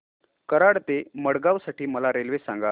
कराड ते मडगाव साठी मला रेल्वे सांगा